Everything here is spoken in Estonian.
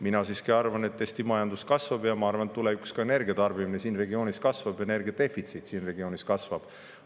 Mina siiski arvan, et Eesti majandus kasvab, ja ma arvan, et tulevikus ka energia tarbimine siin regioonis kasvab, energia defitsiit siin regioonis kasvab.